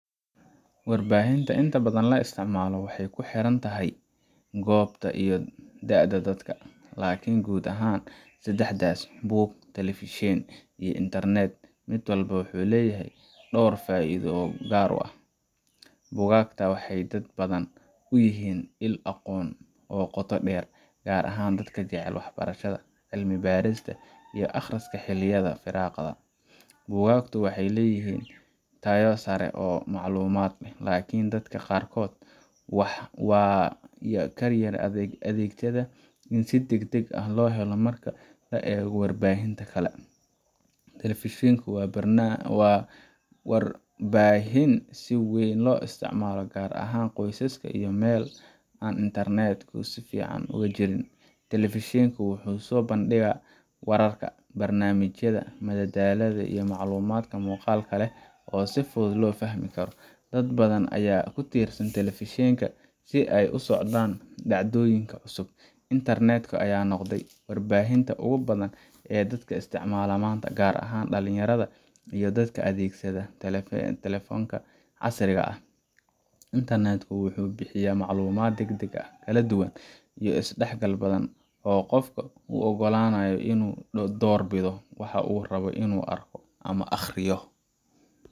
Warbaahinta inta badan la isticmaalo waxay ku xiran tahay goobta iyo da’da dadka, laakiin guud ahaan saddexdaas buug, telefishin, iyo internet mid walba wuxuu leeyahay door iyo faa’iido u gaar ah. Buugaagta waxay dad badan u yihiin il aqoon oo qoto dheer, gaar ahaan dadka jecel waxbarashada, cilmi baarista, iyo akhriska xilliyada firaaqada. Buugaagtu waxay leeyihiin tayo sare oo macluumaad ah, laakiin dadka qaarkood waaa kayar adegyada in si degdeg ah loo helo marka loo eego warbaahinta kale. Telefishinku waa warbaahin si weyn loo isticmaalo gaar ahaan qoysaska iyo meel aan internetku si fiican uga jirin. Telefishinku wuxuu soo bandhigayaa wararka, barnaamijyada madadaalada, iyo macluumaad muuqaalka leh oo si fudud loo fahmi karo. Dad badan ayaa ku tiirsan telefishinka si ay ula socdaan dhacdooyinka cusub. Internet ka ayaa noqday warbaahinta ugu badan ee dadka isticmaalaan maanta, gaar ahaan dhalinyarada iyo dadka adeegsanaya taleefannada casriga ah. Internet ku wuxuu bixiyaa macluumaad degdeg ah, kala duwan, iyo isdhexgal badan oo qofka u oggolaanaya inuu doorbido waxa uu rabo inuu arko ama akhriyo.